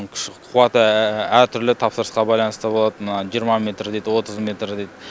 күш қуаты әртүрлі тапсырысқа байланысты болат мына жиырма метрдей отыз метрдей